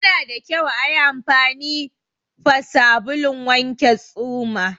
Yana da kyau ayi anfani fa sabulun wanke tsuma